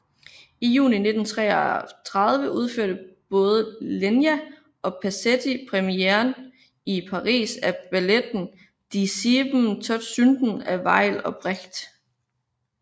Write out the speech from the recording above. I juni 1933 udførte både Lenya og Pasetti premieren i Paris af balletten Die sieben Todsünden af Weill og Brecht